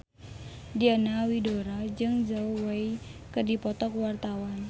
Diana Widoera jeung Zhao Wei keur dipoto ku wartawan